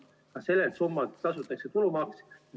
Ka sellelt summalt tasutakse tulumaks.